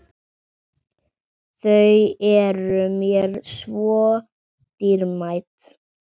Þau eru mér svo dýrmæt.